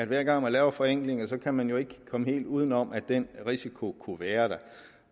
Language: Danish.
hver gang man laver forenklinger kan man jo ikke komme helt uden om at den risiko kunne være der